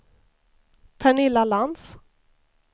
Pernilla Lantz